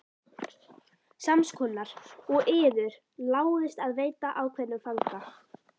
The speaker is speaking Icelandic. Sams konar og yður láðist að veita ákveðnum fanga.